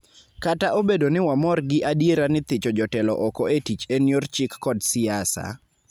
Kata obedo ni wamor gi adiera ni thicho jotelo oko e tich en yor chik kod siasa,